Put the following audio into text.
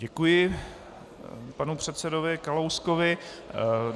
Děkuji panu předsedovi Kalouskovi.